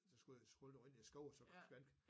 Så skulle jeg skulle jeg løbe ind i en skov og så fandt